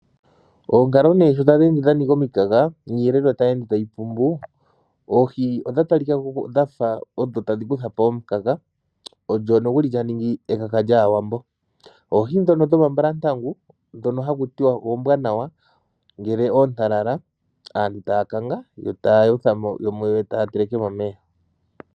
Oonkalo nee sho tadhi ende dhanika omikaga niiyelelwa tayi ende tayi pumbu. Oohi odha talika ko dhafa odho tadhi kandula po omukaga. Odho nduno dhaningi omakaka gaawambo. Oohi dhoka dhomambalantangu dhoka haku tiwa ombwanawa ngele ontalala aantu taya kakanga yo taa yotha dhimwe taa teleke momeya.